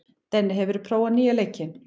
Denni, hefur þú prófað nýja leikinn?